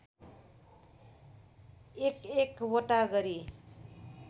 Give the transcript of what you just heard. एकएक वटा गरी